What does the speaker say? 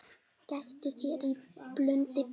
Gæta þín í blundi blíðum.